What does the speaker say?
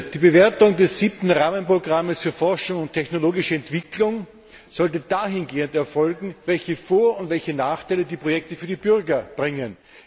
Die Bewertung des 7. Rahmenprogramms für Forschung und technologische Entwicklung sollte dahingehend erfolgen, welche Vor und Nachteile die Projekte für die Bürger bringen.